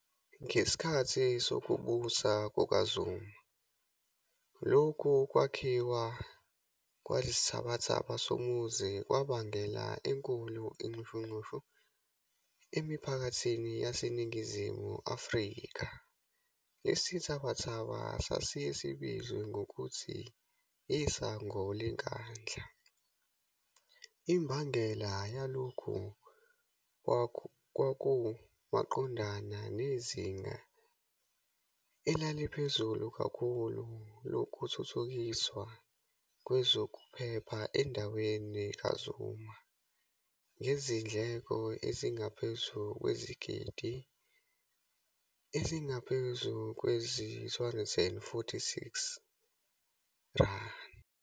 Ngesikhathi sokubusa kukaZuma, lokhu kwakhiwa kwalesithabathababa somuzi kwabanga enkulu ixushunxushu emiphakathini yase Ningizimu Afrikha, lesithabathaba sasiye sibizwe ngokuthi isango leNkandla, imbangela yalokho kwaku maqondana nezinga elaliphezulu kakhulu lokuthuthukiswa kwezokuphepha endaweni kaZuma, ngezindleko ezingaphezu kwezigidi ezingaphezu kwezi-R246.